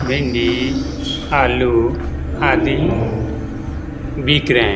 भिंडी आलू आदि बिक रहे हैं।